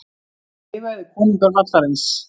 Þið verðið konungar vallarins.